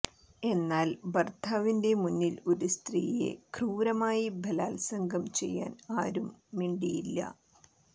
എന്നാൽ ഭർത്താവിന്റെ മുന്നിൽ ഒരു സ്ത്രീയെ ക്രൂരമായി ബലാത്സംഗം ചെയ്യാൻ ആരും മിണ്ടിയില്ല